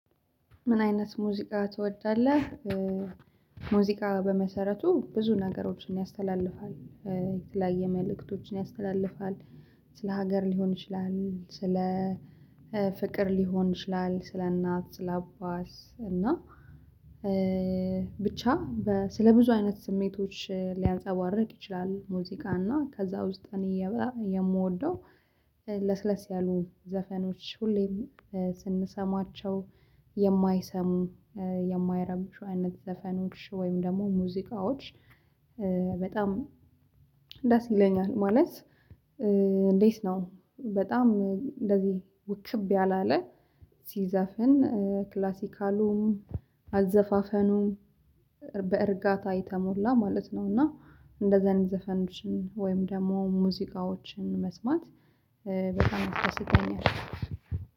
ምን አይነት ሙዚቃ ትወዳለህ? ሙዚቃ በመሰረቱ ብዙ ነገሮችን ያስተላልፋል። የተለያየ መልእክቶችን ያስተላልፋል። ስለ ሀገር ሊሆን ይችላል ስለ ፍቅር ሊሆን ይችላል ስለ እናት ስለ አባስ እና ብቻ በ ስለ ብዙ አይነት ስሜቶች ሊያንፀባርቅ ይችላል ሙዚቃ እና ከዛ ውስጥ እኔ የምወደው ለስለስ ያሉ ዘፈኖች ሁሌም ስንሰማቸው የማይሰሙ የማይረብሹ አይነት ዘፈኖች ወይም ደግሞ ሙዚቃዎች በጣም ደስ ይለኛል ማለት እንዴት ነው በጣም እንደዚህ ውክብ ያላለ ሲዘፍን ክላሲካሉም አዘፋፈኑም በእርጋታ የተሞላ ማለት ነው። እና እንደዚህ አይነት ዘፈንሽን ወይም ደግሞ ሙዚቃዎችን መስማት በጣም አስደስተኛል